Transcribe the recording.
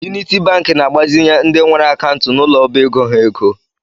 Uniti Banki na-agbazinye ndị nwere akantu n’ụlọ ọbaego ha ego